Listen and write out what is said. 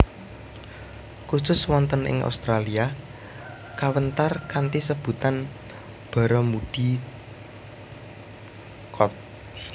Khusus wonten ing Australia kawéntar kanthi sebutan Barramundi Cod